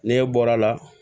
Ne bɔra a la